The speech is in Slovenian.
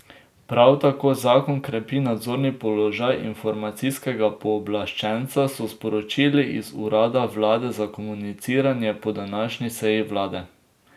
Prav tako zakon krepi nadzorni položaj informacijskega pooblaščenca, so sporočili iz urada vlade za komuniciranje po današnji seji vlade.